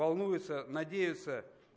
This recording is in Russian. волнуются надеются